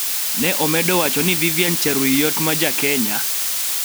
Ne omedo wacho ni Vivian Cheruiyot ma Ja - Kenya